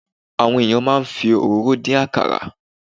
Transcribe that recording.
Àwọn ènìyàn máa ń fi òróró dín àkàrà.